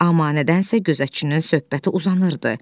Amma nədənsə gözətçinin söhbəti uzanırdı.